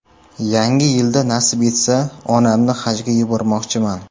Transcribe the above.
Yangi yilda nasib etsa, onamni hajga yubormoqchiman.